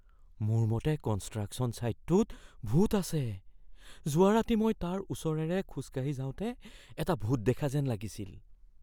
মোৰ মতে কনষ্ট্ৰাকশ্যন ছাইটটোত ভূত আছে। যোৱা ৰাতি মই তাৰ ওচৰেৰে খোজকাঢ়ি যাওঁতে এটা ভূত দেখা যেন লাগিছিল।